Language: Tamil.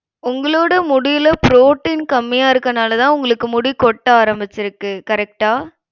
உங்களோட முடில protein கம்மியா இருக்கனாலதான் உங்களுக்கு முடி கொட்ட ஆரம்பிச்சிருக்கு correct ஆ